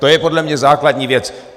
To je podle mě základní věc.